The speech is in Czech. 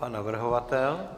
Pan navrhovatel?